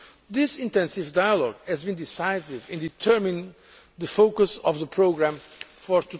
This intensive dialogue has been decisive in determining the focus of the programme for